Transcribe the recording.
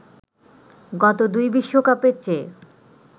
গত দুই বিশ্বকাপের চেয়ে